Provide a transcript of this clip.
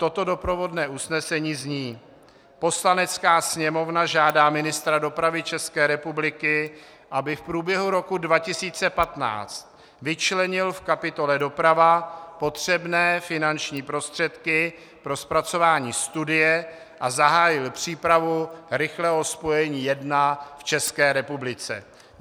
Toto doprovodné usnesení zní: Poslanecká sněmovna žádá ministra dopravy České republiky, aby v průběhu roku 2015 vyčlenil v kapitole Doprava potřebné finanční prostředky pro zpracování studie a zahájil přípravu rychlého spojení 1 v České republice.